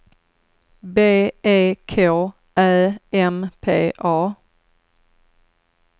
B E K Ä M P A